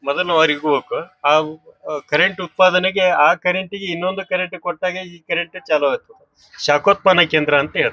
ಮದನವಾಡಿ ಹೋಗಕ್ ಹಾವು ಕರೆಂಟ್ ಉತ್ತಪಾದನೆಗೆ ಆ ಕರೆಂಟ್ಗೆ ಇನೊಂದು ಕರೆಂಟ್ ಕೊಟ್ಟಾಗ ಈ ಕರೆಂಟ್ ಚಾಲು ಆತು ಶಾಕೊತ್ಪನಾ ಕೇಂದ್ರ ಅಂತ ಹೇಳ--